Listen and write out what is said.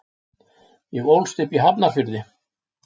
Ég ólst upp í Hafnarfirði.